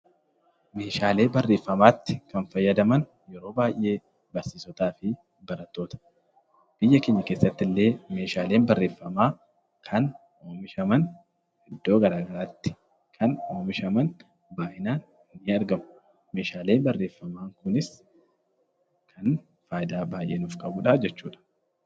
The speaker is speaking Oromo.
Meeshaalee barreeffamaatti kan fayyadaman yeroo baayyee barsiisotaa fi barattoota. Biyya keenya keessattillee meeshaaleen barreeffamaa kan oomishaman iddoo garaa garaatti baayyinaan ni argamu. Meeshaalee barreeffamaa kunis kan faayidaa baayyee nuuf qabuu dha.